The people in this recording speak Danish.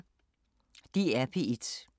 DR P1